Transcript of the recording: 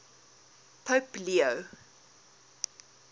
pope leo